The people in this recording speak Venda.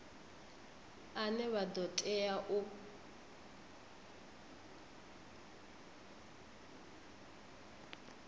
ane vha ḓo tea u